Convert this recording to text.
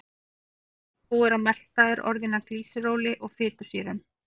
Fita sem búið er að melta er orðin að glýseróli og fitusýrum.